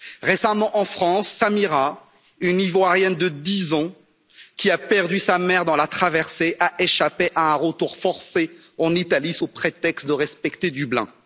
Récemment en France, Samira, une Ivoirienne de dix ans, qui a perdu sa mère dans la traversée, a échappé à un retour forcé en Italie sous prétexte de respecter Dublin.